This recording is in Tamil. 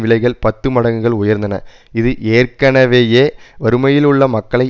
விலைகள் பத்து மடங்குகள் உயர்ந்தன இது ஏற்கனவேயே வறுமையிலுள்ள மக்களை